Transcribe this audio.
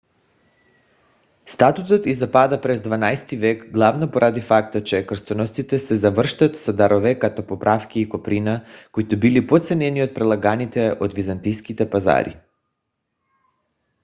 статутът й запада през дванайсти век главно поради факта че кръстоносците се завръщат с дарове като подправки и коприна които били по-ценени от предлаганите от византийските пазари